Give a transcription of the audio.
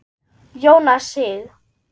Jónas Sig.